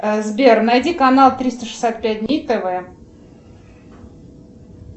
сбер найди канал триста шестьдесят пять дней тв